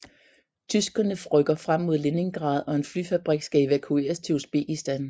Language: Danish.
Tyskerne rykker frem mod Leningrad og en flyfabrik skal evakueres til Usbekistan